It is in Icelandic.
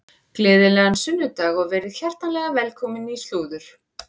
Gleðilegan sunnudag og verið hjartanlega velkomin í slúður.